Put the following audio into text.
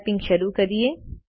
typing શરુ કરીએ